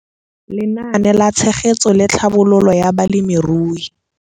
Lenaane la Tshegetso le Tlhabololo ya Balemirui.